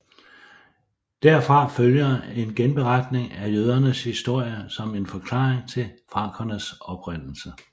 Derfra følger en genberetning af jødernes historie som en forklaring til frankernes oprindelse